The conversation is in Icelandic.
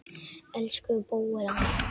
Elsku Bóel amma.